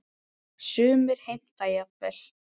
Sumir heimta jafnvel